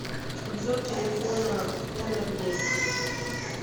обзор телефона хонор десять